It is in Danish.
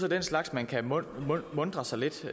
den slags man kan muntre sig lidt